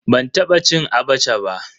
Ban taba cin "Abacha" ba.